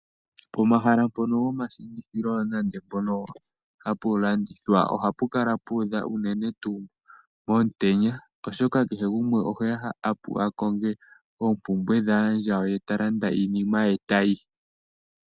Pomahala mpono gomashingithilo nande mpono hapu landithwa, ohapu kala pu udha unene tuu momutenya, oshoka kehe gumwe ohe ya a konge oompumbwe dhaandjawo, ye ta landa iinima ye e ta yi.